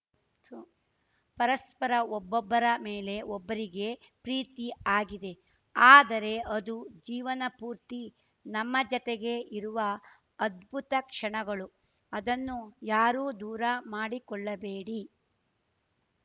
ತೂ ಪರಸ್ಪರ ಒಬ್ಬೊರ ಮೇಲೆ ಒಬ್ಬರಿಗೆ ಪ್ರೀತಿ ಆಗಿದೆ ಆದರೆ ಅದು ಜೀವನ ಪೂರ್ತಿ ನಮ್ಮ ಜತೆಗೇ ಇರುವ ಅದ್ಭುತ ಕ್ಷಣಗಳು ಅದನ್ನು ಯಾರೂ ದೂರ ಮಾಡಿಕೊಳ್ಳಬೇಡಿ